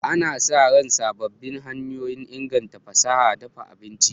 Ana sa ran sabbin hanyoyin inganta fasahar dafa abinci.